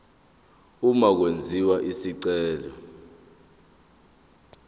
uma kwenziwa isicelo